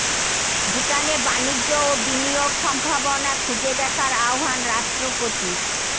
ভুটানে বাণিজ্য ও বিনিয়োগ সম্ভাবনা খুঁজে দেখার আহ্বান রাষ্ট্রপতির